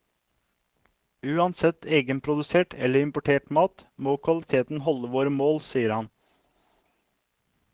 Uansett egenprodusert eller importert mat, må kvaliteten holde våre mål, sier han.